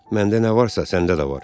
Məndə nə varsa, səndə də var.